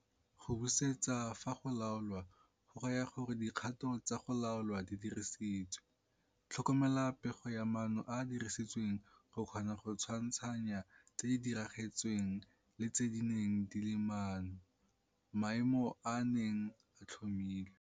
Go busetsa, fa go laolwa, go raya gore dikgato tsa go laolwa di dirisiwe, tlhokomela pego ya maano a a dirisitsweng go kgona go tshwantshanya tse di diragetsweng le tse di neng di le maano, maemo a a neng a tlhomilwe.